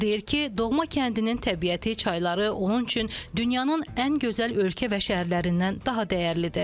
O deyir ki, doğma kəndinin təbiəti, çayları onun üçün dünyanın ən gözəl ölkə və şəhərlərindən daha dəyərlidir.